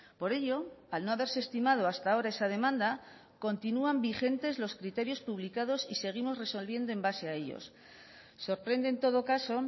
por ello al no haberse estimado hasta ahora esa demanda continúan vigentes los criterios publicados y seguimos resolviendo en base a ellos sorprende en todo caso